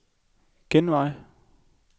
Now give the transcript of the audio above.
genvej